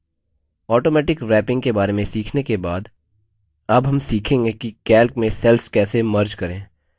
automatic wrapping के बारे में सीखने के बाद अब हम सीखेंगे कि calc में cells कैसे merge विलीन करें